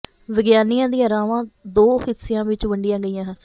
ਵਿਗਿਆਨੀਆਂ ਦੀਆਂ ਰਾਵਾਂ ਦੋ ਹਿੱਸਿਆਂ ਵਿਚ ਵੰਡੀਆਂ ਗਈਆਂ ਸਨ